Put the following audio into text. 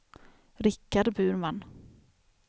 Richard Burman